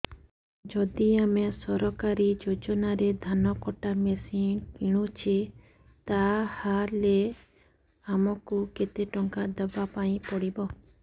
ଯଦି ଆମେ ସରକାରୀ ଯୋଜନାରେ ଧାନ କଟା ମେସିନ୍ କିଣୁଛେ ତାହାଲେ ଆମକୁ କେତେ ଟଙ୍କା ଦବାପାଇଁ ପଡିବ